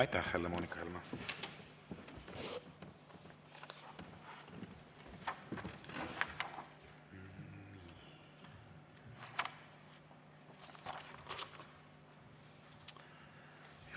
Aitäh, Helle‑Moonika Helme!